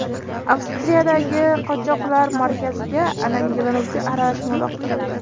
Avstriyadagi qochoqlar markaziga alangalanuvchi aralashma uloqtirildi.